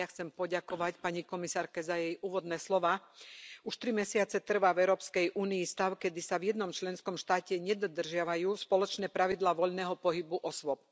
Aj ja chcem poďakovať pani komisárke za jej úvodné slová. Už tri mesiace trvá v Európskej únii stav, keď sa v jednom členskom štáte nedodržiavajú spoločné pravidlá voľného pohybu osôb.